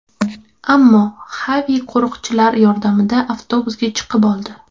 Ammo Xavi qo‘riqchilar yordamida avtobusga chiqib oldi.